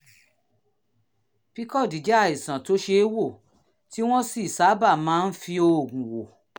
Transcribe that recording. pcod jẹ́ àìsàn tó ṣe é wò tí wọ́n sì sábà máa ń fi oògùn wò